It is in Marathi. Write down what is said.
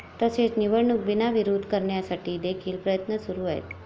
तसेच निवडणूक बिनविरोध करण्यासाठी देखील प्रयत्न सुरु आहेत.